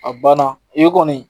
A banna i ye kɔni.